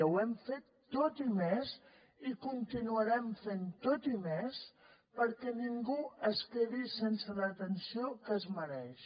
ho hem fet tot i més i continuarem fent tot i més perquè ningú es quedi sense l’atenció que es mereix